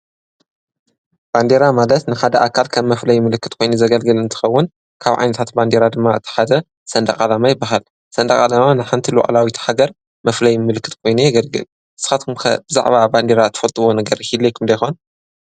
ባንዴራ ማለት ንሓደ ኣካል ከም መፍለይ ምልክት ኮይኑ ዘገልግል እንትኸውን ካብ ዓይነታት ባንዴራ ድማ እቲ ሓደ ሰንደቕ ዓላማ ይበሃል፡፡ ሰንደቕ ዓላማ ንሓንቲ ሉዕላዊ ሃገር መፍለይ ምልክት ኮይኑ የገልግል፡፡ ንስኻትኩም ከ ብዛዕባ ባንዴራ ትፈልጥዎ ነገር ይሂልየኩም ዶ ይኾን?